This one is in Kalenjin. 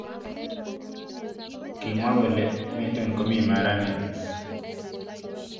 kimwa kole metun komi maranet